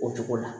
O cogo la